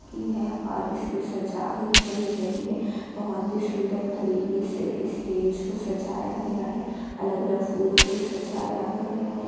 की है और इसमें सजावट चल रही है बहुत ही सुंदर तरीके से स्टेज को सजाया गया है अलग-अलग फूलों से सजाया गया है।